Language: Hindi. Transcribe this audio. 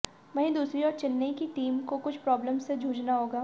वहीं दूसरी ओर चेन्नै की टीम को कुछ प्रॉब्लम से जूझना होगा